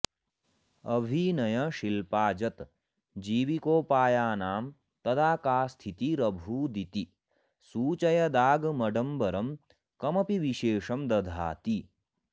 अभिनयशिल्पाजतजीविकोपायानां तदा का स्थितिरभूदिति सूचयदागमडम्बरं कमपि विशेषं दधाति